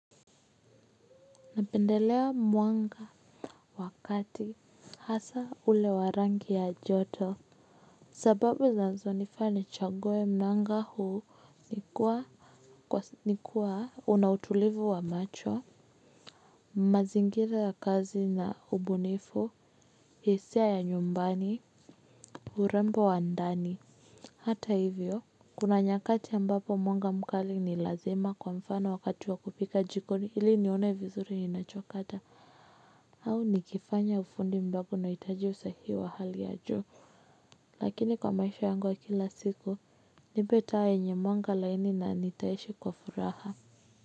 Napendelea mwanga wakati hasa ule wa rangi ya joto sababu zinazo nifanya nichague mnanga huu ni kuwa ni kuwa unautulivu wa macho mazingira ya kazi na ubunifu hisia ya nyumbani urembo wa ndani hata hivyo kuna nyakati ambapo mwanga mkali ni lazima kwa mfano wakati wa kupika jikoni hili nione vizuri ninacho kata. Au nikifanya ufundi ambapo nahitaji usahihi wa hali ya juu. Lakini kwa maisha yangu ya kila siku, nipee taa yenye mwanga laini na nitaishi kwa furaha.